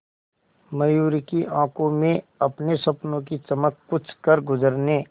मयूरी की आंखों में अपने सपनों की चमक कुछ करगुजरने